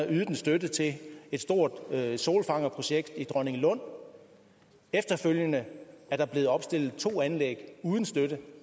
ydet en støtte til et stort solfangerprojekt i dronninglund efterfølgende er der blevet opstillet to anlæg uden støtte